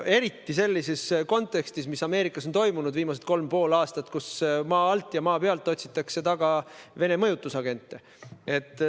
Eriti kõige selle kontekstis, mis Ameerikas viimasel kolmel ja poolel aastal on toimunud, kus maa alt ja maa pealt otsitakse taga Vene mõjutusagente.